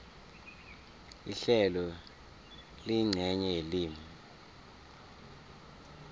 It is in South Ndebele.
ihlelo liyincenye yelimi